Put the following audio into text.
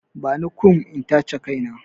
Bani kum in tace kai na!